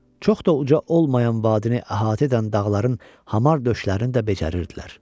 Çox da uca olmayan vadini əhatə edən dağların hamar döşlərini də becərərdilər.